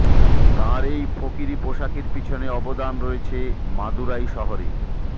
তাঁর এই ফকিরি পোশাকের পিছনে অবদান রয়েছে মাদুরাই শহরের